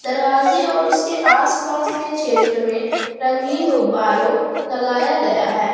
दरवाजे और उसके आसपास के क्षेत्र में रंगीन गुब्बारों लगाया गया है।